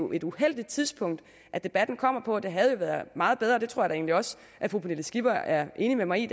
et uheldigt tidspunkt at debatten kommer på det havde jo været meget bedre og det tror jeg da egentlig også at fru pernille skipper er enig med mig i